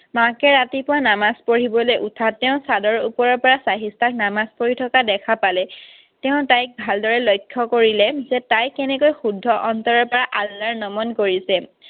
মাকে ৰাতিপুৱা নামাজ পঢ়িবলৈ উঠাত তেওঁ চাদৰ ওপৰৰ পৰা চাহিষ্ঠাক নামাজ পঢ়ি থকা দেখা পালে। তেওঁ তাইক ভালদৰে লক্ষ্য কৰিলে যে তাই কেনেকৈ শুদ্ধ অন্তৰৰ পৰা আল্লাৰ নমন কৰিছে।